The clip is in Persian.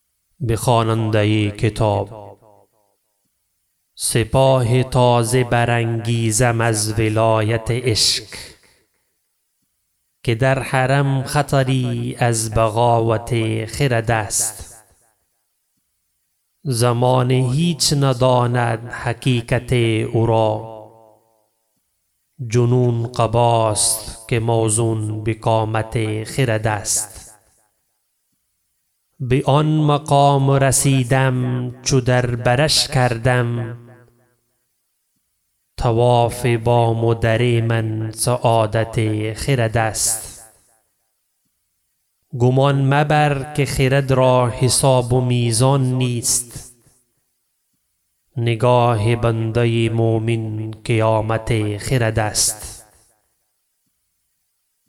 سپاه تازه برانگیزم از ولایت عشق که در حرم خطری از بغاوت خرد است زمانه هیچ نداند حقیقت او را جنون قباست که موزون بقامت خرد است به آن مقام رسیدم چو در برش کردم طواف بام و در من سعادت خرد است گمان مبر که خرد را حساب و میزان نیست نگاه بنده مؤمن قیامت خرد است